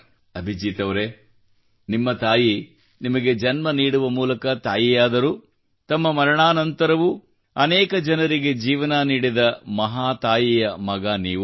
ಅಭಿಜೀತ್ ಅವರೆ ನಿಮ್ಮ ತಾಯಿ ನಿಮಗೆ ಜನ್ಮ ನೀಡುವ ಮೂಲಕ ತಾಯಿಯಾದರೂ ತಮ್ಮ ಮರಣಾ ನಂತರವೂ ಅನೇಕ ಜನರಿಗೆ ಜೀವನ ನೀಡಿದ ಮಹಾತಾಯಿಯ ಮಗ ನೀವು